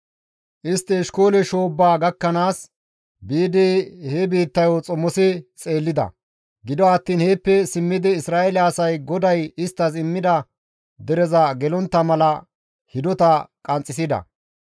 Istti Eshkoole shoobbaa gakkanaas biidi he biittayo xomosi xeellida; gido attiin heeppe simmidi Isra7eele asay GODAY isttas immida dereza gelontta mala hidota qanxxisida.